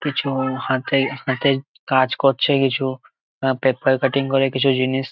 কিছু-উ হাতের হাতের কাজ করছে কিছু পেপার কাটিং করে কিছু জিনিস--